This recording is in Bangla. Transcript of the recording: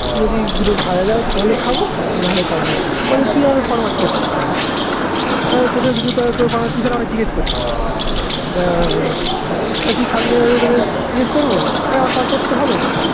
যদি দুটো ভাজা যায় তাহলে খাবো তো না হলে খাবো না বলছে তুই আমাকে ফরম্যাশ করছিস কেনো এই তোকে কিছু দেয় তো তুই ছাড়া আমায় জিজ্ঞেস করছিস কেন এই তুই খাবি কি না তোদের জিজ্ঞেস করবো বলে এই আমার খাবার করতে হবে না